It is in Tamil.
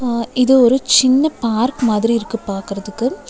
அ இது ஒரு சின்ன பார்க் மாதிரிருக்கு பாக்கறதுக்கு.